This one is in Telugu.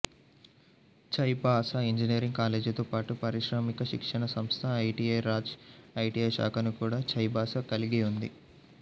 చైబాసా ఇంజనీరింగ్ కాలేజీతో పాటు పారిశ్రామిక శిక్షణా సంస్థ ఐటిఐ రాజ్ ఐటిఐ శాఖను కూడా చైబాసా కలిగి ఉంది